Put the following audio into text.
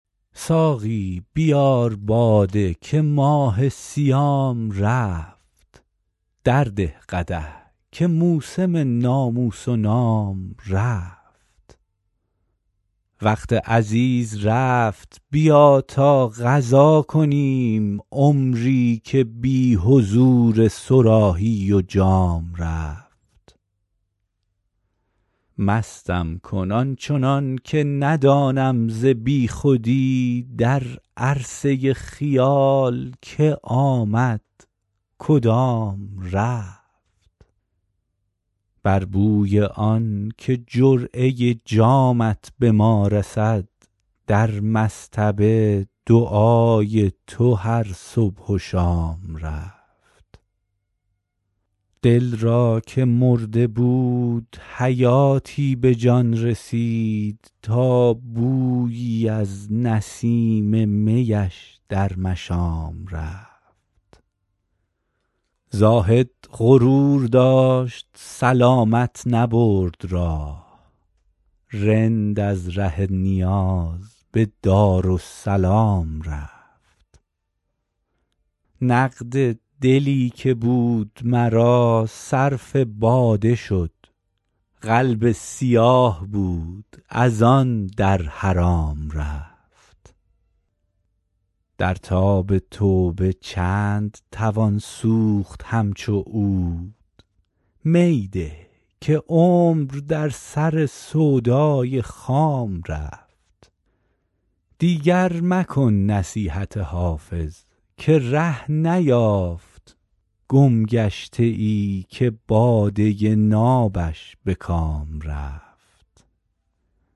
ساقی بیار باده که ماه صیام رفت درده قدح که موسم ناموس و نام رفت وقت عزیز رفت بیا تا قضا کنیم عمری که بی حضور صراحی و جام رفت مستم کن آن چنان که ندانم ز بی خودی در عرصه خیال که آمد کدام رفت بر بوی آن که جرعه جامت به ما رسد در مصطبه دعای تو هر صبح و شام رفت دل را که مرده بود حیاتی به جان رسید تا بویی از نسیم می اش در مشام رفت زاهد غرور داشت سلامت نبرد راه رند از ره نیاز به دارالسلام رفت نقد دلی که بود مرا صرف باده شد قلب سیاه بود از آن در حرام رفت در تاب توبه چند توان سوخت همچو عود می ده که عمر در سر سودای خام رفت دیگر مکن نصیحت حافظ که ره نیافت گمگشته ای که باده نابش به کام رفت